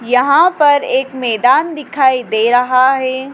यहां पर एक मैदान दिखाई दे रहा है।